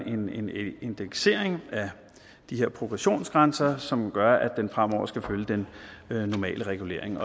indeksering af de her progressionsgrænser som gør at den fremover skal følge den normale regulering